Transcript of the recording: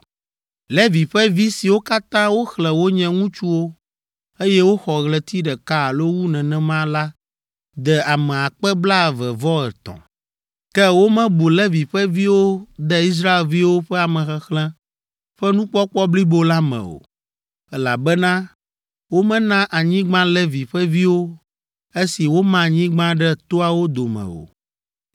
Levi ƒe vi siwo katã woxlẽ wonye ŋutsuwo, eye woxɔ ɣleti ɖeka alo wu nenema la de ame akpe blaeve-vɔ-etɔ̃ (23,000). Ke womebu Levi ƒe viwo de Israelviwo ƒe amexexlẽ ƒe nukpɔkpɔ blibo la me o, elabena womena anyigba Levi ƒe viwo esi woma anyigba ɖe toawo dome o.